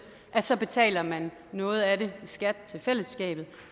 så betaler man noget at det i skat til fællesskabet